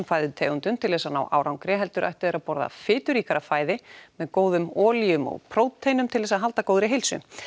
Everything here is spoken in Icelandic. fæðutegundum til þess að ná árangri heldur ættu þeir að borða fituríkara fæði með góðum olíum og prótínum til þess að halda góðri heilsu